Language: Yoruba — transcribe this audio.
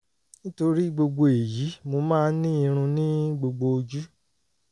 nítorí gbogbo èyí mo máa ń ní irun ní gbogbo ojú